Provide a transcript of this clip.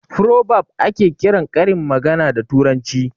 "Frobab" ake kiran karin magana da turanci